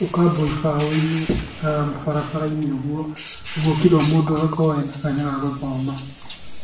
gũkambwo ibaũ-inĩ ta barabara-inĩ ũguo, ũguo kira mũndũ agakorwo ena kanya gagũthoma.